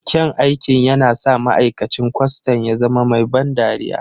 Kyan aikin yana sa ma'aikacin kwastan ya zama mai ban dariya.